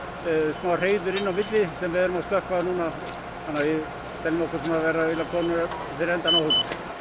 smá hreiður inn á milli sem við erum að slökkva núna þannig að við teljum okkur vera komnir fyrir endann á þessu